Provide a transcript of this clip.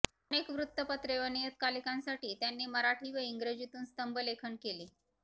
अनेक वृत्तपत्रे व नियतकालिकांसाठी त्यांनी मराठी व इंग्रजीतून स्तंभलेखन केले